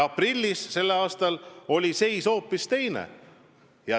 Tänavu on olukord hoopis teine.